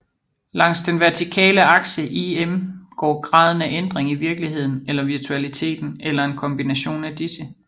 Langs den vertikale akse IM går graden af ændring i virkeligheden eller virtualiteten eller en kombination af disse